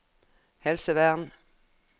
helsevern